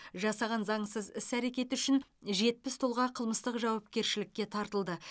жасаған заңсыз іс әрекеті үшін жетпіс тұлға қылмыстық жауапкершілікке тартылды